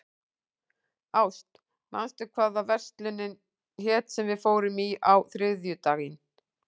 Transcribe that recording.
Ást, manstu hvað verslunin hét sem við fórum í á þriðjudaginn?